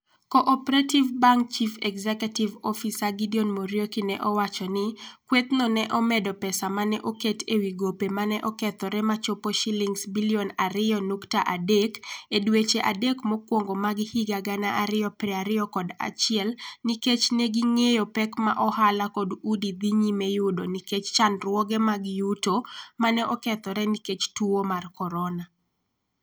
Co-operative Bank Chief Executive Officer Gideon Muriuki ne owacho ni, "kwethno ne omedo pesa ma ne oket e wi gope ma ne okethore ma ochopo Sh2.3 billion e dweche adek mokwongo mag 2021 nikech ne ging'eyo pek ma ohala kod udi dhi nyime yudo nikech chandruoge mag yuto ma ne okethore nikech tuwo mar Corona".